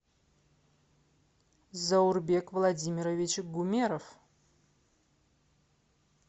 заурбек владимирович гумеров